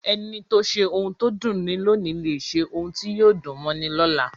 Ẹni tó ṣe ohun tó dunni lóòní lè ṣe ohun tí yóò dùn mọ́ni lọ́la.